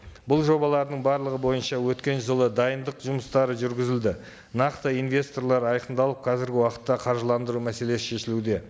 бұл жобалардың барлығы бойынша өткен жылы дайындық жұмыстары жүргізілді нақты инвесторлар айқындалып қазіргі уақытта қаржыландыру мәселесі шешілуде